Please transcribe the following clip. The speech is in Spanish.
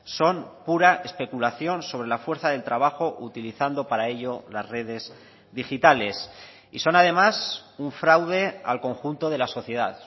son pura especulación sobre la fuerza del trabajo utilizando para ello las redes digitales y son además un fraude al conjunto de la sociedad